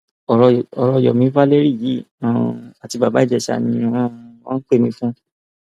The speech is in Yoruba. ọrọ yomi valeriyi um àti bàbá ìjèṣà ni um wọn pè mí fún